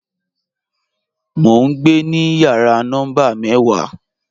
Mọ̀ n gbẹ ni yàrà nọ́mbà mẹ́wà